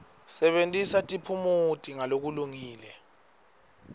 sebentisa tiphumuti ngalokulungile